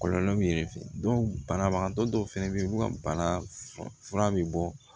Kɔlɔlɔ min ye banabagatɔ dɔw fɛnɛ be yen olu ka bana fura be bɔ